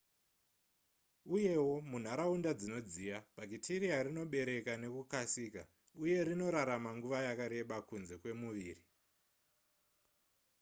uyewo munharaunda dzinodziya bhakitiriya rinobereka nekukasika uye rinorarama nguva yakareba kunze kwemuviri